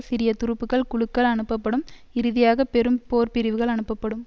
சிறிய துருப்புக்கள் குழுக்கள் அனுப்பப்படும் இறுதியாக பெரும் போர்பிரிவுகள் அனுப்பப்படும்